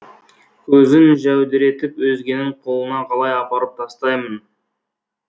көзін жәудіретіп өзгенің қолына қалай апарып тастаймын